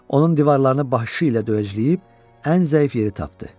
Onun divarlarını başı ilə döyəcləyib ən zəif yeri tapdı.